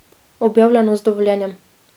Objavljeno z dovoljenjem.